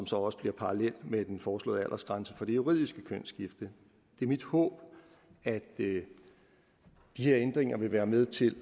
så også parallel med den foreslåede aldersgrænse for det juridiske kønsskifte det er mit håb at de her ændringer vil være med til